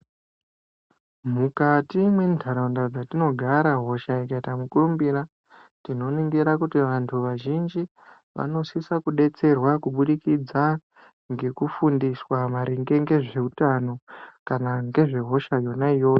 Mukati mwe ndaraunda dzatino gara hosha ikaita mukurumbira tinoningira kuti vantu vazhinji vanosisa kudetserwa kubudikidza ngeku fundiswa maringe nge zveutano kana ngezve hosha yona iyoyo.